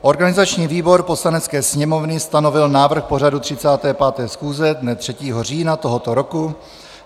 Organizační výbor Poslanecké sněmovny stanovil návrh pořadu 35. schůze dne 3. října tohoto roku.